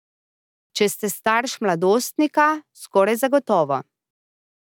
Če ste starš mladostnika, skoraj zagotovo.